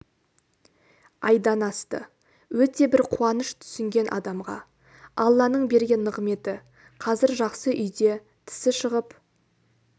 айдан асты өте бір қуаныш түсінген адамға алланың берген нығметі қазір жақсы үйде тісі шығып